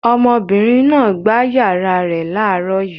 Ọmọbìnrin náà gbá ìyàrá rẹ̀ láàárọ̀ yìí.